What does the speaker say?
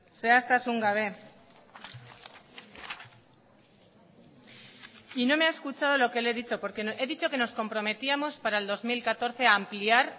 zehaztasun gabe y no me ha escuchado lo que le he dicho porque he dicho que nos comprometíamos para el dos mil catorce a ampliar